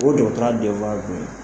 O jɔɔtɔrɔya dɔ ye.